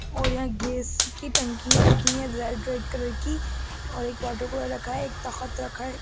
और यहाँ गेस की टंकिये रखी हैं रेड रेड कलर की और एक रखा है एक तखत रखा है।